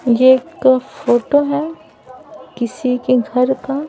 ये एक फोटो हैं किसी के घर का--